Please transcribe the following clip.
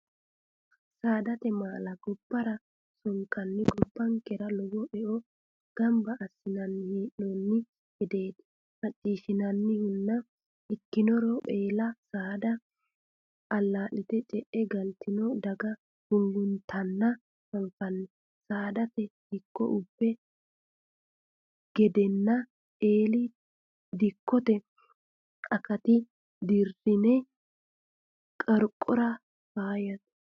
Saadate maala gobbara sonkanni gobbankera lowo eo gamba assinanni hee'nonni gedeti maccishshinannihuna ikkirono eella saada ala'lite ce'e galtino daga gunguttanna anfanni saadate dikko ubbino gedenna eelli dikkote akatta dirine qorqora faayyate.